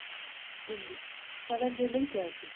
Lillý: Hvað verðið þið lengi að þessu?